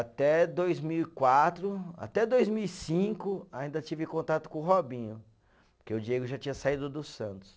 Até dois mil e quatro, até dois mil e cinco ainda tive contato com o Robinho, porque o Diego já tinha saído do Santos.